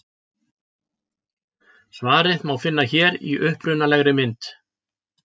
Svarið má finna hér í upprunalegri mynd.